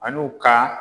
An'u ka